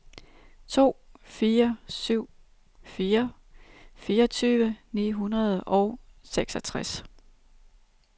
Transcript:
to fire syv fire fireogtyve ni hundrede og seksogtres